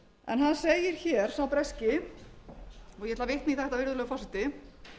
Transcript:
en hann segir hér sá breski og ég ætla að vitna í þetta virðulegur forseti